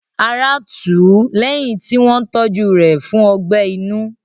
Ará tù ú lẹ́yìn tí wọ́n tọ́jú rẹ̀ fún ọgbẹ́ inú.